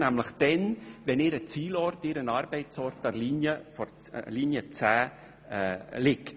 Nämlich dann, wenn ihr Ziel- oder Arbeitsort an der Linie 10 liegt.